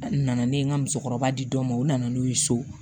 A nana ne ye n ka musokɔrɔba di dɔ ma u nana n'u ye so